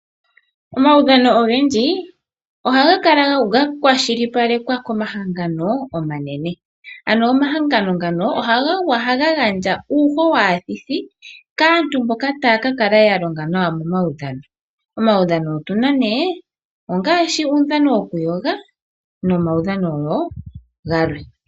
Omaudhano ogendji ohaga kala gakwashilipalekwa komahangano omanene. Ano omahangano ngano ohaga gandja uuho waathithi kaantu mboka taya kakala yalonga nawa momaudhano. Omaudhano otuna ne ngaashi uudhano wokuyoga nomaudhano woo galwe.